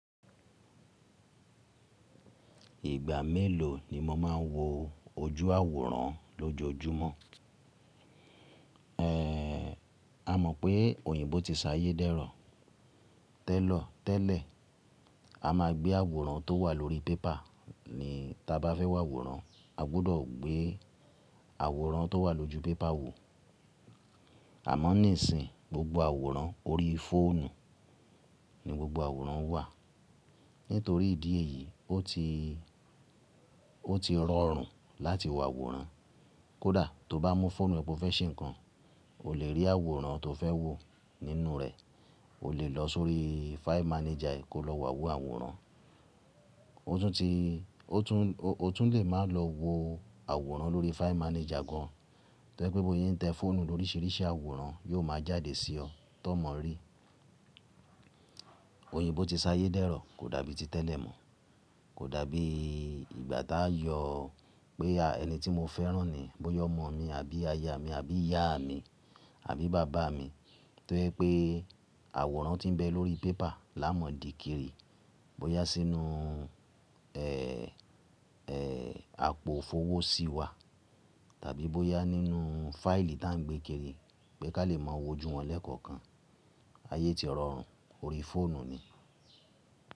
Ìgbà mélòó ni mo máa ń wo ojú àwòrán lójoojúmọ́? A mọ̀ pé òyìnbó ti ṣayé dẹ́rọ̀. Tẹ́lọ̀, tẹ́lẹ̀, a máa gbé àwòrán tó wà lórí paper ní ta bá fẹ́ wo àwòrán, a gbọ́dọ̀ gbé àwòrán tó wà lójú paper wò. Àmọ́ nísìí, gbogbo àwòrán ori fóònù ni gbogbo àwòrán wà. Nítorí ìdí èyí, ó ti, ó ti rọrùn láti wo àwòrán. Kódà tó bá mú fóònù ẹ pọ fẹ́ ṣe nǹkan, o lè rí àwòrán tó fẹ́ wò nínú rẹ̀, o lè lọ sórí fáì mànéjà ẹ kó lọ wo àwòrán. O tún ti, o tún lè máa lọ wo àwòrán lórí fáì mànéjà gan an. Tó je pé bó se ń tẹ́ fóònù ló ríríṣiríṣi àwòrán yóò máa jáde sí ọ tó mọ̀ rí. Òyìnbó ti ṣayé dẹ́rọ̀ kò dàbí ti tẹ́lẹ̀ mọ́. Kò dàbí ìgbà táa yọ pé ẹni tí mo fẹ́ rán ni, bóyá ọmọ mi àbí aya mi, àbí ìyá mi, àbí bàbá mi, tó ye pé àwòrán ti ń bẹ lórí paper l'ámọ̀ dì kiri, bóyá sínú, àpò òfówó sí wa tàbí bóyá nínú fáìlì tá à ń gbé kiri pé ká lè máa wojú wọn lẹ́ẹ̀kọ̀ọ̀kan. Ayé ti rọrùn, ori fóònù ni.